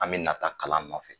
An bɛ nata kalan nɔfɛ